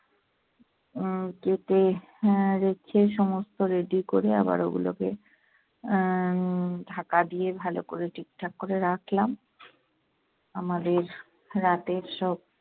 উম কেটে আহ রেখে সমস্ত ready করে আবার ওগুলোকে আহ ঢাকা দিয়ে ভালো করে ঠিকঠাক করে রাখলাম। আমাদের রাতের সব